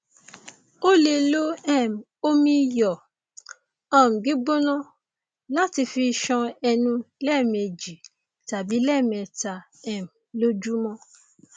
o lè lo um omi iyọ um gbígbóná láti fi ṣan ẹnu lẹẹmejì tàbí lẹẹmẹta um lójúmọ